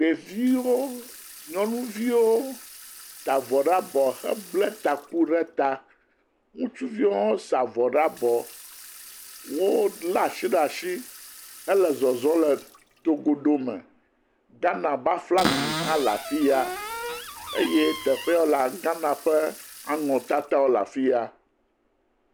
Ɖeviwo. Nyɔnuviwo de avɔ ɖe abɔ bla taku ɖe ta. Ŋustuviwo hã da vɔ ɖe abɔ. Wole asi ɖe asi hele zɔzɔm le togodo me. Ghana ƒe aflagi hã le afiya eye teƒe ya wolea, Ghana ƒe anɔ tatawo le afiya.